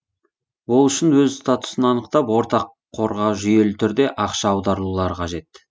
ол үшін өз статусын анықтап ортақ қорға жүйелі түрде ақша аударулары қажет